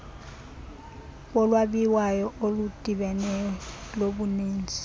bolwabiwo oludibeneyo lobuninzi